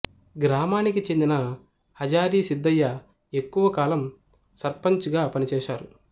గ్రామానికి చెందిన హజారి సిద్దయ్య ఎక్కువకాలం సర్పంచ్ గా పనిచేశారు